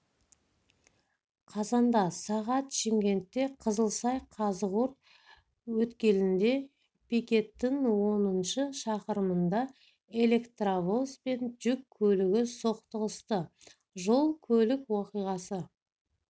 қазанда сағат шымкентте қызылсай қазығұрт өткелінде пикеттің оныншы шақырымында электровоз бен жүк көлігі соқтығысты жол-көлік оқиғасы